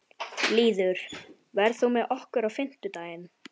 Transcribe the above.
Lýður, ferð þú með okkur á fimmtudaginn?